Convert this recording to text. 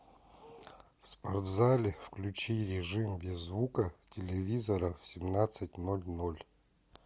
в спортзале включи режим без звука телевизора в семнадцать ноль ноль